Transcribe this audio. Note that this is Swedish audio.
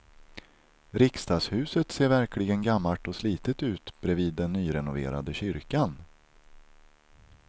Riksdagshuset ser verkligen gammalt och slitet ut bredvid den nyrenoverade kyrkan.